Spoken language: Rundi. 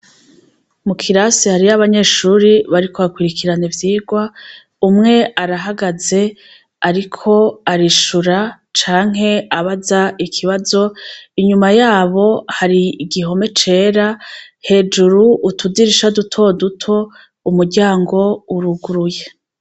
Mu kirasi hariyo abanyeshure bariko bakwirikirana ivyigwa, umwe arahagaze ariko arishura canke abaza ikibazo, inyuma yabo hari igihome cera hejuru utudirisha duto duto, umuryango uruguruye.